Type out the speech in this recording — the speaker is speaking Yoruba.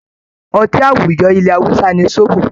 Ọtí àwùjọ ilẹ̀ Hausa ni Zobo